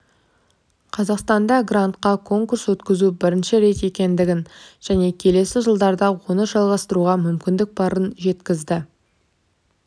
қазақстанда грантқа конкурс өткізу бірінші рет екендігін және келесі жылдарда оны жалғастыруға мүмкіндік барын жеткізді